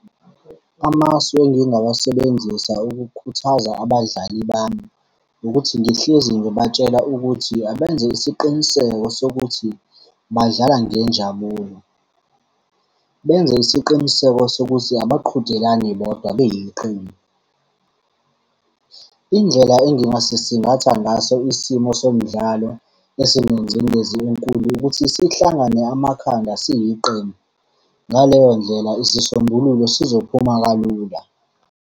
Amasu engingawasebenzisa ukukhuthaza abadlali bami, ukuthi ngihlezi ngibatshela ukuthi abenze isiqiniseko sokuthi badlala ngenjabulo. Benze isiqiniseko sokuthi abaqhudelani bodwa beyiqembu. Indlela engingasisingatha ngaso isimo somdlalo, ezinengcindezi enkulu ukuthi sihlangane amakhanda siliqembu. Ngaleyo ndlela isisombululo sizophuma kalula.